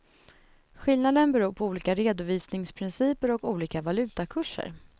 Skillnaden beror på olika redovisningsprinciper och olika valutakurser.